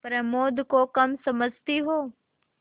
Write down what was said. प्रमोद को कम समझती हो